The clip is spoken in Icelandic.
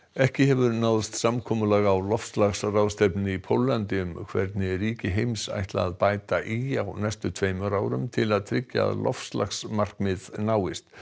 ekki hefur náðst samkomulag á loftslagsráðstefnunni í Póllandi um hvernig ríki heims ætla að bæta í á næstu tveimur árum til að tryggja að loftslagsmarkmið náist